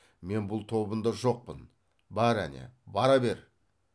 мен бұл тобында жоқпын бар әне бара бер